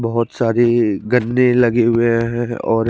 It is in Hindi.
बोहोत सारे गद्दे लगे हुए है और--